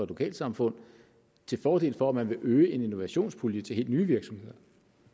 lokalsamfund til fordel for at man vil øge en innovationspulje til helt nye virksomheder